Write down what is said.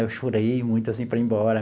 Eu chorei muito assim para ir embora.